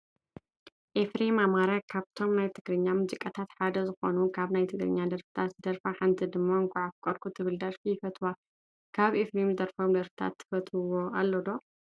ኤፍረም ኣማራ ካብቶም ናይ ትግራኛ ሙዚቀኛታት ሓደ ኮይኑ ካብ ናይ ትግራኛ ደርፍታት ዝደረፋ ሓንቲ ድማ እንኳዕ ኣፍቀርኩ ትብል ደርፊ ይፈትዋ። ካብ ኤፍሬም ዝደረፎም ደርፊታት ትፈትዎ ኣሎ ዶ?